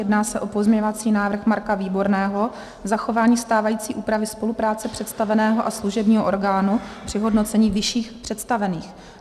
Jedná se o pozměňovací návrhy Marka Výborného, zachování stávající úpravy spolupráce představeného a služebního orgánu při hodnocení vyšších představených.